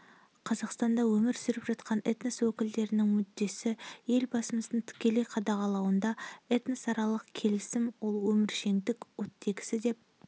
қазақстанда өмір сүріп жатқан этнос өкілдерінің мүддесі елбасымыздың тікелей қадағалауында этносаралық келісім ол өміршеңдік оттегісі деп